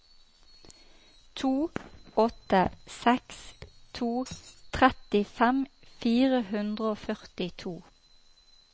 to åtte seks to trettifem fire hundre og førtito